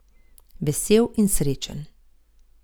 Vesel in srečen!